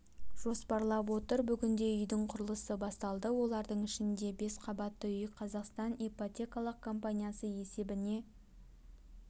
жоспарлап отыр бүгінде үйдің құрылысы басталды олардың ішінде бес қабатты үй қазақстан ипотекалық компаниясы есебіне